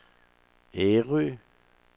Ærø